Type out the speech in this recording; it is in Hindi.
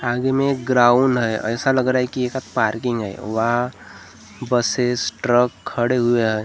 आगे मे एक ग्राउंड है ऐसा लग रहा है कि ये सब पार्किंग है वहा बसेस ट्रक खड़े हुए है।